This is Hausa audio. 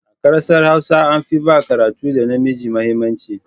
A ƙasar Hausa an fi ba karatun ɗa namiji mahimmanci.